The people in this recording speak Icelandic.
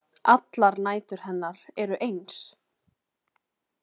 Allar nætur hennar eru eins.